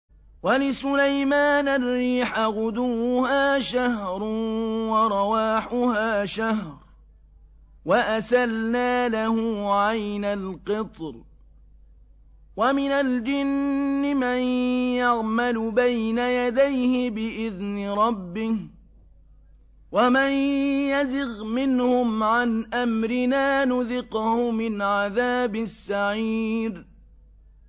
وَلِسُلَيْمَانَ الرِّيحَ غُدُوُّهَا شَهْرٌ وَرَوَاحُهَا شَهْرٌ ۖ وَأَسَلْنَا لَهُ عَيْنَ الْقِطْرِ ۖ وَمِنَ الْجِنِّ مَن يَعْمَلُ بَيْنَ يَدَيْهِ بِإِذْنِ رَبِّهِ ۖ وَمَن يَزِغْ مِنْهُمْ عَنْ أَمْرِنَا نُذِقْهُ مِنْ عَذَابِ السَّعِيرِ